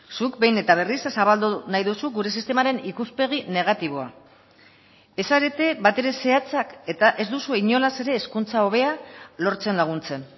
zuk behin eta berriz zabaldu nahi duzu gure sistemaren ikuspegi negatiboa ez zarete batere zehatzak eta ez duzue inolaz ere hezkuntza hobea lortzen laguntzen